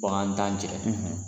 Ko an t' an cɛ.